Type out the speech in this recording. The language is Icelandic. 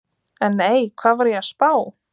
En nei, hvað var ég að spá?